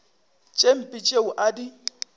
tše mpe tšeo a di